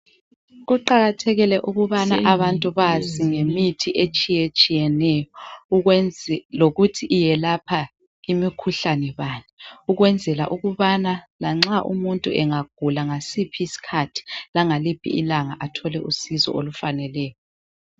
Kuqakathekile ukubana abantu bazi ngemithi etshiyetshiyeneyo lokuthi iyelapha imikhuhlane bani ukwenzela ukubana lanxa umuntu engagula ngasiphi isikhathi langaliphi ilanga athole usizo olufaneleyo.